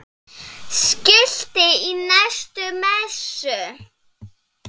Skilti í næstu messu?